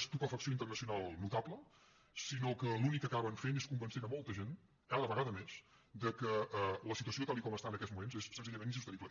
estupefacció internacional notable sinó que l’únic que acaben fent és convencent molta gent cada vegada més que la situació tal com està en aquests moments és senzillament insostenible